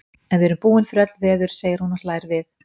En við erum búin fyrir öll veður, segir hún og hlær við.